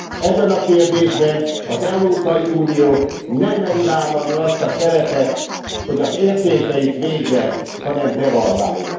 Ebben a kérdésben az Európai Unió nem meri vállalni azt a szerepet, hogy az értékeit védje, hanem devalválja.